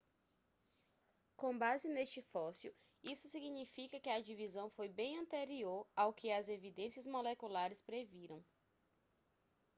com base neste fóssil isso significa que a divisão foi bem anterior ao que as evidências moleculares previram